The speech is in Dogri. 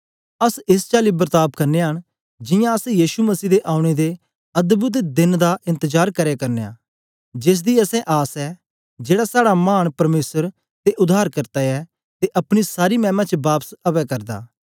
अस एस चाल्ली बर्ताव करनयां न जियां अस यीशु मसीह दे औने दे अद्भुत देन दा एन्तजार करै करनयां जेस दी असें आस ऐ जेड़ा साड़ा मान परमेसर ते उद्धारकर्ता ऐ अपनी सारी मैमा च बापस अवै करदा